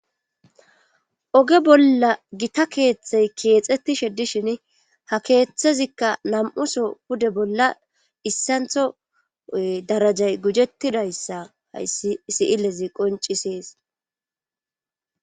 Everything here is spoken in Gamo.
oge bolla gita keeththey keexettishe dishin ha keeththezikka nam'uso pude bolla issantho darajay gujettidayssa hayssi siilezi qoncisees